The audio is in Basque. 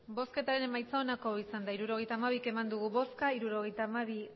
hirurogeita hamabi eman dugu bozka hirurogeita hamabi